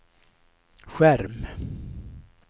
skärm